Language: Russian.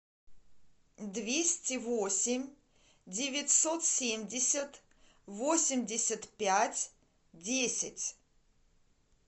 двести восемь девятьсот семьдесят восемьдесят пять десять